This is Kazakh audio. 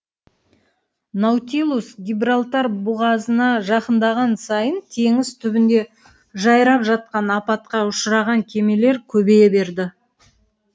наутилус гибралтар бұғазына жақындаған сайын теңіз түбінде жайрап жатқан апатқа ұшыраған кемелер көбейе берді